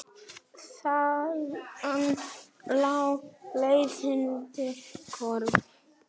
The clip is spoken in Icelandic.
Þaðan lá leiðin til KRON.